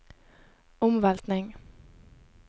omveltning